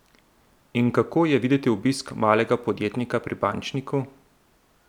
In kako je videti obisk malega podjetnika pri bančniku?